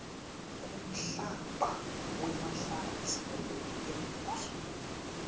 kumhlaba wemahlatsi embuso